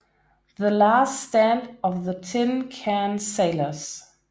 The Last Stand of the Tin Can Sailors